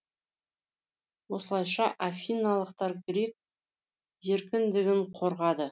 осылайша афиналықтар грек еркіндігін қорғады